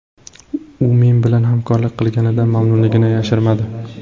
U men bilan hamkorlik qilganidan mamnunligini yashirmadi.